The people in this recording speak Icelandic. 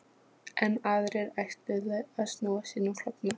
Enn aðrir ætluðu að snúa sínum klofna